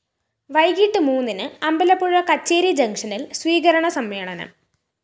വൈകിട്ട് മൂന്നിന് അമ്പലപ്പുഴ കച്ചേരി ജങ്ഷനില്‍ സ്വീകരണ സമ്മേളനം